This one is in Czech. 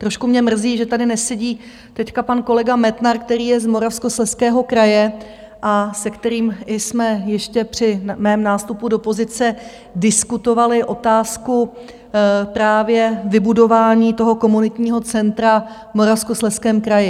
Trošku mě mrzí, že tady nesedí teď pan kolega Metnar, který je z Moravskoslezského kraje a se kterým jsme ještě při mém nástupu do pozice diskutovali otázku právě vybudování toho komunitního centra v Moravskoslezském kraji.